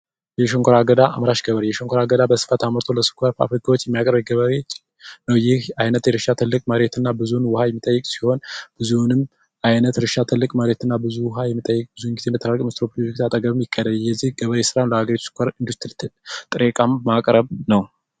የሽንኮራ አምራች ገበሬ የሽንኮራ ገዳ አምርቶ ለፋብሪካዎች የሚያቀርብ ገበሬ ይህ አይነት የእርሻ መሬት እና ብዙ ውሃ የሚጠይቅ ሲሆን የዚህ አይነቱ ገበሬ ስራም ሸንኮራ አገዳ በማምረት ለድርጅቶች ማቅረብ ነው።